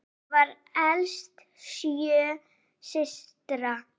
Hún var elst sjö systra.